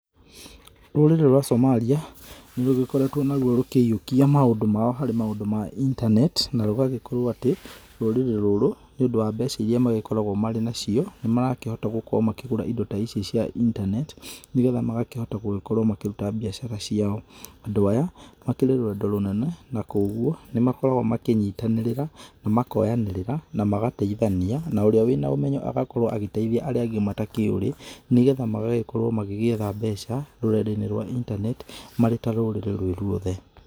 Rũrĩrĩ rwa Somalia nĩ rũgĩkoretwo na rũo rũkĩiyũkia maũndũ mao harĩ maũndũ ma internet, na rũgagĩkorwo atĩ rũrĩrĩ rũrũ nĩ ũndũ wa mbeca ĩria makoragwo nacio, nĩ marakĩhota gũkorwo makĩgũra indo ta ici cia internet, nĩgetha magakĩhota gũgĩkorwo makĩruta mbiacara ciao, andũ aya makĩrĩ rwendo rũnene na kogũo nĩ magĩkoragwo makĩnyitananirĩra makoyanĩrĩra na magateithania na ũrĩa wĩna ũmenyo agakorwo agĩteithia arĩa angĩ matakĩurĩ, nĩgetha magagĩkorwo magĩgĩetha mbeca rũrenda rwa internet marĩ ta rũrĩrĩ rwĩ rwothe.